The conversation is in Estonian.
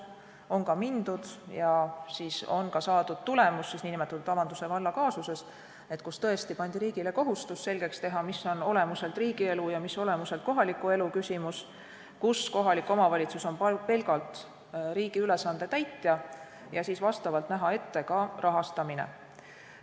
On ka mindud ja on saadud tulemus näiteks nn Avanduse valla kaasuses, kus tõesti pandi riigile kohustus selgeks teha, mis on olemuselt riigielu ja mis kohaliku elu küsimus, kus kohalik omavalitsus on pelgalt riigi ülesande täitja, ja näha ette ka rahastamine.